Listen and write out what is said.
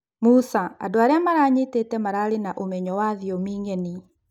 Musa: andũ arĩa maranyitĩte mararĩ na ũmenyo wa thiomi ng'eni